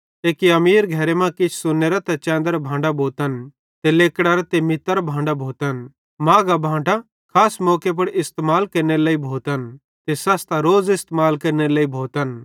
एक्की अमीर घरे मां किछ सोन्नेरे ते चैदरां भांडां भोतन ते लेकड़ारां ते मितरां भोतन माघां भांडां खास मौके पुड़ इस्तेमाल केरनेरे लेइ भोतन ते सस्तां रोज़ इस्तेमाल केरनेरे लेइ भोतन